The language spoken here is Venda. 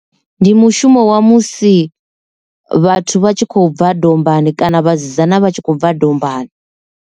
Ndi mushumo wa musi vhathu vha tshi khou bva dombani kana vhasidzana vha tshi khou bva dombani.